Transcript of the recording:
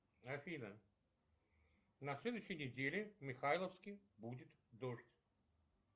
афина на следующей неделе в михайловске будет дождь